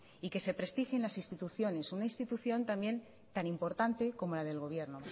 y que se prestigien las instituciones una institución también tan importante como la del gobierno